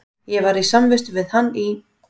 Ég var samvistum við hann í